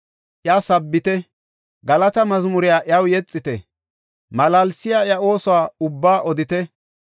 Iya sabbite; galata mazmuriya iyaw yexite; Malaalisiya iya ooso ubbaa odite.